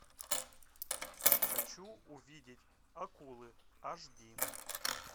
хочу увидеть акулы аш ди